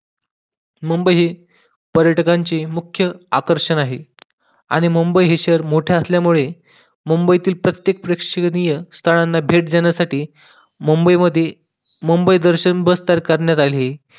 मुंबई पर्यटकांची मुख्य आकर्षण आहे आणि मुंबई हे शहर मोठं असल्यामुळे मुंबईतील प्रत्येक प्रेक्षणीय स्थळांना भेट देण्यासाठी मुंबई मध्ये मुंबई दर्शन बस करण्यात आली